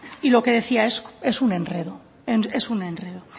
y lo que decía es un enredo es un enredo